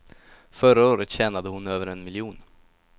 Förra året tjänade hon över en miljon.